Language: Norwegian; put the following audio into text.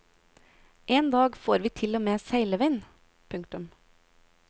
En dag får vi til og med seilevind. punktum